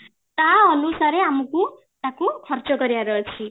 ତା ଅନୁସାରେ ଆମକୁ ତାକୁ ଖର୍ଚ୍ଚ କରିବାର ଅଛି